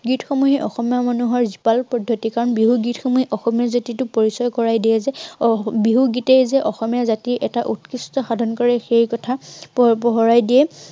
গীত সমূহে অসমীয়া মানুহৰ কিয়নো বিহু গীতসমূহে অসমীয়া জাতিটোক পৰিচয় কৰাই দিয়ে যে, আহ বিহু গীতেই যে অসমীয়া জাতিৰ এটা উৎকৃষ্ট সাধন কৰে, সেই কথা পোপোহৰাই দিয়ে